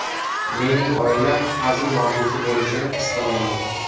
Mening oilam hazil mavzusi bo‘lishini istamayman.